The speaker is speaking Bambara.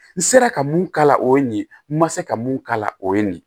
N sera ka mun k'a la o ye nin ye n ma se ka mun k'a la o ye nin ye